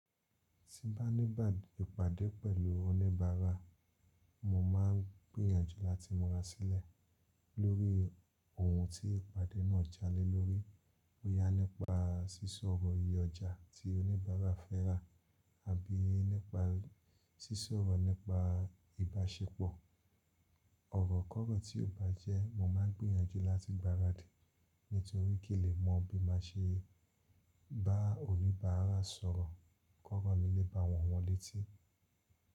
Ti ba ní ba ìpàdé pẹ̀lú oníbàárà, mo máa ń gbìyànjú láti múra sílẹ̀ lórí ohun tí ìpàdé náà jalè lórí, bóyá nípa sísọ ọ̀rọ̀ iye ọjà tí oníbàárà fẹ́ rà àbí nípa sísọ ọ̀rọ̀ nípa ìbáṣepọ̀. Ọ̀rọ̀ kọ̀rọ̀ tí ó bá jẹ́ mo máa ń gbìyànjú láti gbaradì nítorí kì n lè mọ bí má ṣe bá oníbàárà sọ̀rọ̀ kọ̀rọ̀ mi le ba wọ wọn létí.